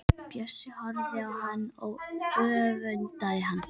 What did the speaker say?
Bjössi horfir á hann og öfundar hann.